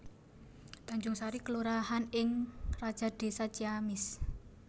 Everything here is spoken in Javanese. Tanjungsari kelurahan ing Rajadesa Ciamis